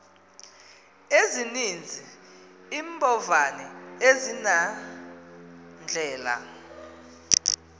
ezininzi iimbovane azinandlela